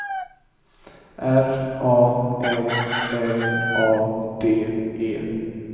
R A M L A D E